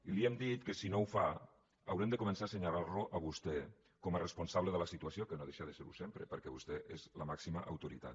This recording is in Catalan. i li hem dit que si no ho fa haurem de començar a assenyalar lo a vostè com a responsable de la situació que no deixa de ser ho sempre perquè vostè és la màxima autoritat